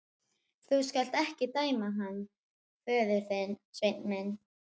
Þú skalt ekki dæma hann föður þinn, Sveinn minn.